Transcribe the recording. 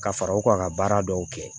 Ka fara u ka baara dɔw kɛ